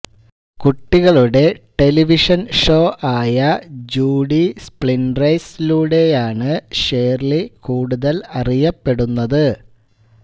കുട്ടികളുടെ television show ആയ Judy Splinters ലൂടെയാണ് ഷേർലി കൂടുതൽ അറിയപ്പെടുന്നത്